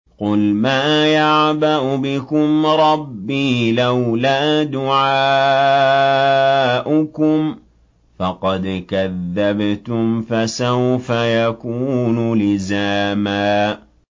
قُلْ مَا يَعْبَأُ بِكُمْ رَبِّي لَوْلَا دُعَاؤُكُمْ ۖ فَقَدْ كَذَّبْتُمْ فَسَوْفَ يَكُونُ لِزَامًا